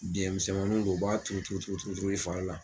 Biyɛn misɛnmaninw do u b'a turu turu turu turu turu i fari la.